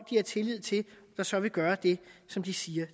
de har tillid til så vil gøre det som de siger